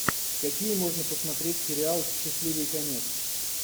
какие можно посмотреть сериалы счастливый конец